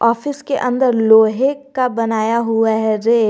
Office के अंदर लोहे का बनाया हुआ है रैक ।